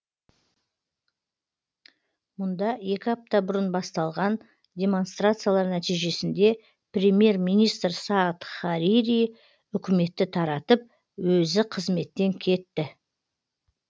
мұнда екі апта бұрын басталған демонстрациялар нәтижесінде премьер министр саад харири үкіметті таратып өзі қызметтен кетті